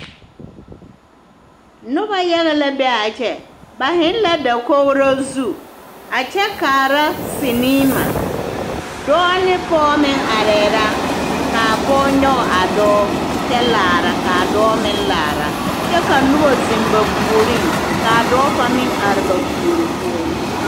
Noba yaga la be a kyɛ ba zeŋ la dakogro zu a kyɛ kaara siniima dɔɔ ne pɔge meŋ arɛɛ la ka a pɔge nyɔge a dɔɔ kyɛ laara ka a dɔɔ meŋ laara kyɛ ka noba zeŋ ba puoriŋ ka a dɔɔ kaŋ meŋ are ba puori poɔ.